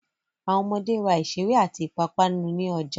Àwọn ọmọde ra ìṣeré àti ìpápánu ní ọjà.